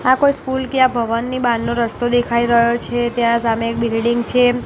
આ કોઈ સ્કૂલ કે ભવનની બારનો રસ્તો દેખાય રહ્યો છે ત્યાં સામે એક બિલ્ડીંગ છે.